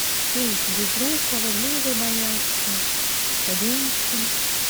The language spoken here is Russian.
фильм с безруковым лизой боярской хабенским